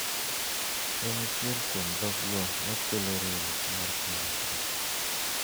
En achiel kuom dhokgo ma kelo riwruok mar piny Afrika.